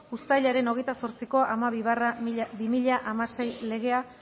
uztailaren hogeita zortziko hamabi barra bi mila hamasei legea